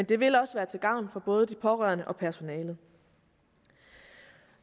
det vil også være til gavn for både de pårørende og personalet